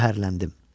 Qəhərləndim.